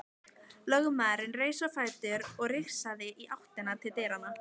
Lögmaðurinn reis á fætur og rigsaði í áttina til dyranna.